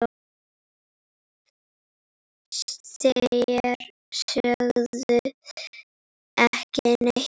Þér sögðuð ekki neitt!